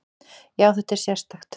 Já, þetta er sérstakt.